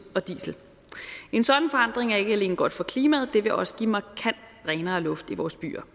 og diesel en sådan forandring er ikke alene godt for klimaet det vil også give markant renere luft i vores byer